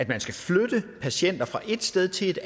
man skal flytte patienter fra et sted til et